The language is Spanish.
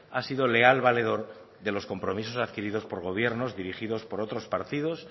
ha sido leal valedor de los compromisos adquiridos por gobiernos dirigidos por otros partidos